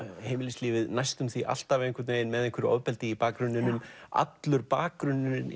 heimilislífið næstum því alltaf með einhverju ofbeldi í bakgrunninum allur bakgrunnurinn